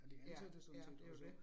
Ja, ja, det jo det